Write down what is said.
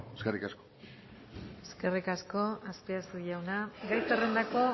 eskerrik asko eskerrik asko azpiazu jauna gai zerrendako